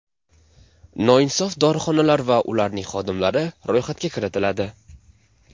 Noinsof dorixonalar va ularning xodimlari ro‘yxatga kiritiladi.